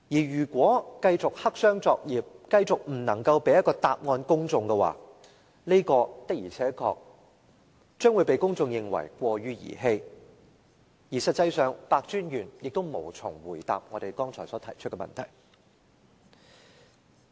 如果繼續黑箱作業、繼續未能給予公眾答案的話，公眾的確會認為過於兒戲，而實際上白專員也無從回答我們剛才提出的問題。